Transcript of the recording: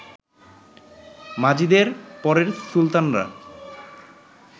মাজিদের পরের সুলতানরা